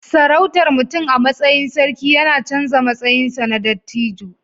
Sarautar mutum a matsayin sarki yana canza matsayinsa na dattijo